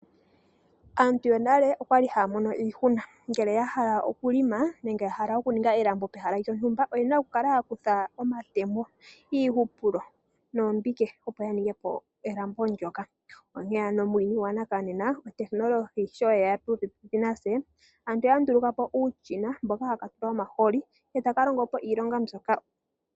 Aantu yonale okwali haya mono iihuna ngele ya hala okuhelela nenge oku ninga oshilambo pehala lyontumba oyali haya kutha omatemo, iihupulo noombinge ya ninge elambo. Muuyuni wonena otekinolohi sho yeya popepi natse aantu oya ndulukapo uushina mboka hawu tulwa omahooli etaka longo po iilonga mbyoka.